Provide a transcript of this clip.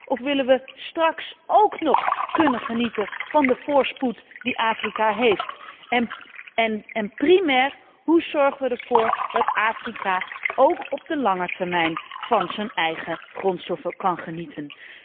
Of willen we straks ook nog kunnen genieten van de voorspoed die Afrika heeft? En primair, hoe zorgen we ervoor dat Afrika ook op de lange termijn van zijn eigen grondstoffen kan genieten?